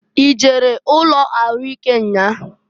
I jere ụnọ ahụ ịke nnyaa?